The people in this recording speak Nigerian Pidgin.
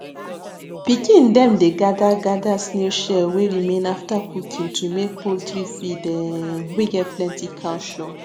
pikin dem dey gather gather snail shell wey remain after cooking to make poultry feed um wey get plenty calcium